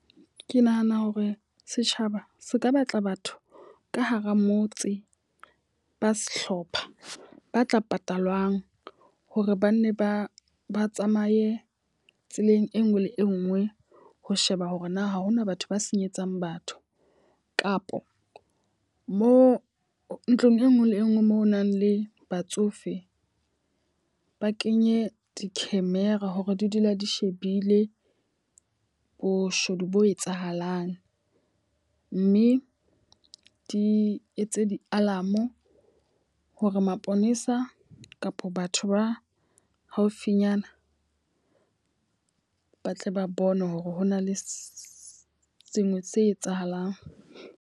Ke nahana hore setjhaba se ka batla batho ka hara motse ba sehlopha ba tla patalwang hore ba nne ba ba tsamaye tseleng e nngwe le e nngwe, ho sheba hore na ha hona batho ba senyetsang batho. Kapo mo ntlong e nngwe le e nngwe moo ho nang le batsofe ba kenye di-camera hore di dula di shebile boshodu bo etsahalang. Mme di etse di-alarm hore maponesa kapa batho ba haufinyana ba tle ba bone hore ho na le sengwe se etsahalang.